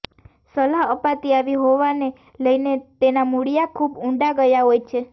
સલાહ અપાતી આવી હોવાને લઈને તેનાં મૂળિયાં ખૂબ ઊંડા ગયા હોય છે